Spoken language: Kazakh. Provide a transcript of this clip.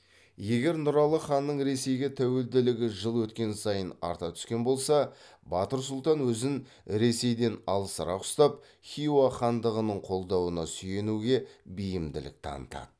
егер нұралы ханның ресейге тәуелділігі жыл өткен сайын арта түскен болса батыр сұлтан өзін ресейден алысырақ ұстап хиуа хандығының қолдауына сүйенуге бейімділік танытады